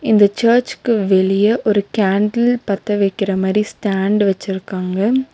இந்த சர்ச்சுக்கு வெளிய ஒரு கேண்டில் பத்த வெக்கிற மாரி ஸ்டேண்டு வெச்சுருக்காங்க.